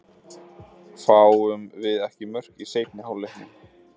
Fáum við ekki mörk í seinni hálfleiknum?